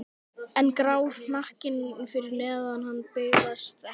En grár hnakkinn fyrir neðan hann bifast ekki.